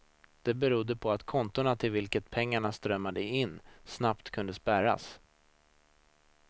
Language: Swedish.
Det beror på att kontona till vilket pengarna strömmade in snabbt kunde spärras.